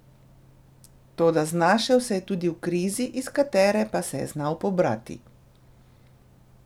Toda znašel se je tudi v krizi, iz katere pa se je znal pobrati.